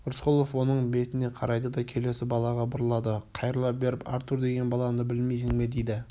рысқұлов оның бетіне қарайды да келесі балаға бұрылады қайырыла беріп артур деген баланы білмейсің бе дейді